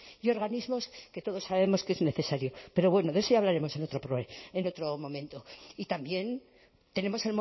y organismos que todos sabemos que es necesario pero bueno de eso ya hablaremos en otro momento y también tenemos